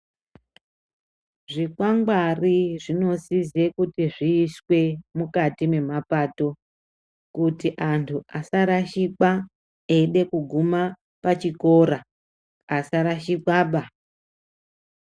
Zvikwangwari zvinosise kuti zviiswe mukati memapato, kuti antu asarashikwa eide kuguma pachikora. Asarashikwa ba.